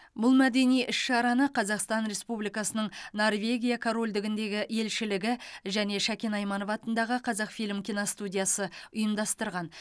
бұл мәдени іс шараны қазақстан республикасының норвегия корольдігіндегі елшілігі және шәкен айманов атындағы қазақфильм киностудиясы ұйымдастырған